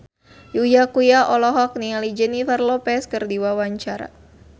Uya Kuya olohok ningali Jennifer Lopez keur diwawancara